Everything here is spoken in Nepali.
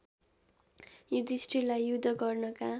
युधिष्ठिरलाई युद्ध गर्नका